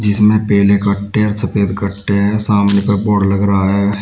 जिसमें पीले कट्टे हैं और सफेद कट्टे हैं सामने का बोर्ड लग रहा है।